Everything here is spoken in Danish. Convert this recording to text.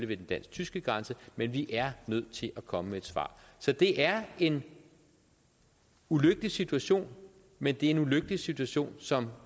ved den dansk tyske grænse men vi er nødt til at komme med at svar så det er en ulykkelig situation men det er en ulykkelig situation som